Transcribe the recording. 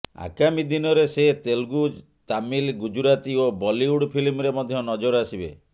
ଆଗାମୀ ଦିନରେ ସେ ତେଲୁଗୁ ତାମିଲ ଗୁଜରାତି ଓ ବଲିଉଡ ଫିଲ୍ମରେ ମଧ୍ୟ ନଜର ଆସିବେ